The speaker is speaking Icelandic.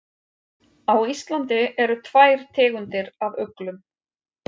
Á Íslandi eru tvær tegundir af uglum.